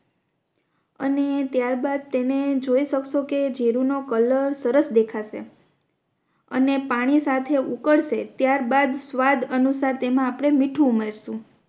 અને ત્યાર બાદ તેને જોઈ શકશો કે જીરૂ નો કલર સરસ દેખાશે અને પાણી સાથે ઉકરસે ત્યાર બાદ સ્વાદ અનુસાર તેમા આપણે મીઠું ઉમેરશુ